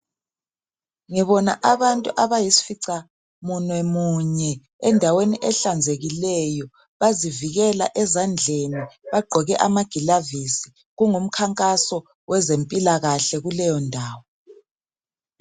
Ngibona abantu abayisificamunwemunye endaweni ehlanzekileyo. Bazivikela ezandleni bagqoke amagilavisi. Kungumkhankaso wezempilakahle kuleyondawo.